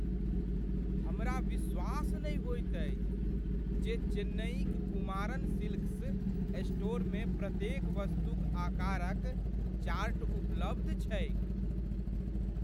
हमरा विश्वास नहि होइत अछि जे चेन्नईक कुमारन सिल्क्स स्टोरमे प्रत्येक वस्तुक आकारक चार्ट उपलब्ध छैक ।